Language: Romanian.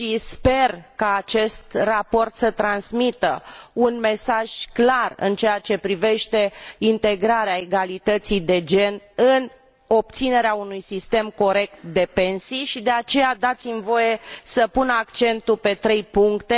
Sper ca acest raport să transmită un mesaj clar în ceea ce privește integrarea egalității de gen în obținerea unui sistem corect de pensii De aceea, dați mi voie să pun accentul pe trei puncte.